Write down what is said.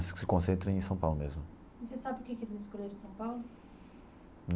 Se concentram em São Paulo mesmo. E você sabe por que que eles escolheram São Paulo?